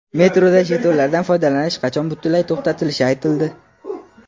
Metroda jetonlardan foydalanish qachon butunlay to‘xtatilishi aytildi.